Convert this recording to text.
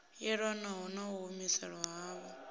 yelanaho na u humiselwa havho